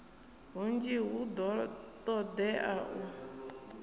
hunzhi hu do todea u